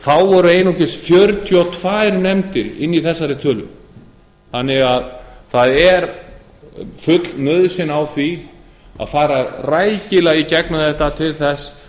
þá voru einungis fjörutíu og tvær nefndir inni í þessari tölu þannig að það er full nauðsyn á því að fara rækilega í gegnum þetta til þess